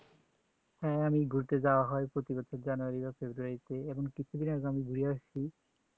হ্যাঁ আমি ঘুরতে যাওয়া হয় প্রতি বছর January বা February তে এখন কিছুদিন আগে ঘুরে আসছি